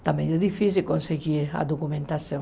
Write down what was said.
Está meio difícil conseguir a documentação.